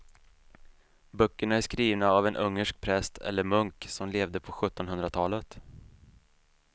Böckerna är skrivna av en ungersk präst eller munk som levde på sjuttonhundratalet.